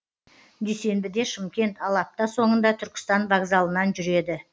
дүйсенбіде шымкент ал апта соңында түркістан вокзалынан жүреді